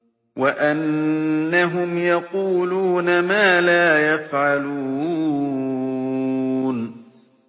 وَأَنَّهُمْ يَقُولُونَ مَا لَا يَفْعَلُونَ